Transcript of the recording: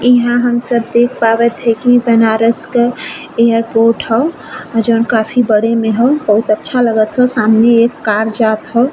इहा हम सब देख पावत है की इ बनारस क एयरपोर्ट ह। जौन काफी बड़े मे ह। बहुत अच्छा लगत ह। सामने एक कार जात ह --